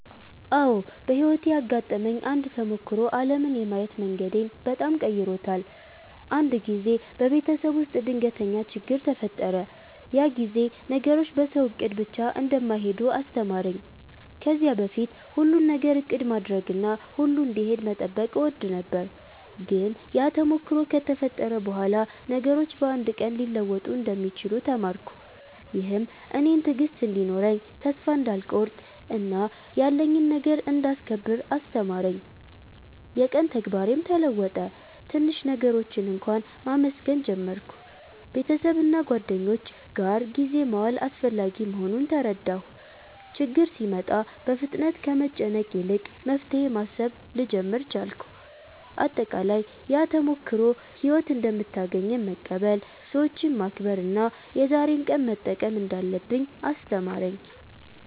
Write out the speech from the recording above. አዎ፣ በሕይወቴ ያጋጠመኝ አንድ ተሞክሮ ዓለምን የማየት መንገዴን በጣም ቀይሮታል። አንድ ጊዜ በቤተሰብ ውስጥ ድንገተኛ ችግኝ ተፈጠረ፤ ያ ጊዜ ነገሮች በሰው እቅድ ብቻ እንደማይሄዱ አስተማረኝ። ከዚያ በፊት ሁሉን ነገር እቅድ ማድረግና ሁሉ እንዲሄድ መጠበቅ እወድ ነበር፤ ግን ያ ተሞክሮ ከተፈጠረ በኋላ ነገሮች በአንድ ቀን ሊለወጡ እንደሚችሉ ተማርኩ። ይህም እኔን ትዕግሥት እንዲኖረኝ፣ ተስፋ እንዳልቆርጥ እና ያለኝን ነገር እንዳስከብር አስተማረኝ። የቀን ተግባሬም ተለወጠ፤ ትንሽ ነገሮችን እንኳ መመስገን ጀመርሁ። ቤተሰብና ጓደኞች ጋር ጊዜ መዋል አስፈላጊ መሆኑን ተረዳሁ። ችግኝ ሲመጣ ፍጥነት ከመጨነቅ ይልቅ መፍትሄ ማሰብ ልጀምር ቻልኩ። አጠቃላይ፣ ያ ተሞክሮ ሕይወት እንደምታገኘን መቀበል፣ ሰዎችን መከብር እና የዛሬን ቀን መጠቀም እንዳለብኝ አስተማረኝ።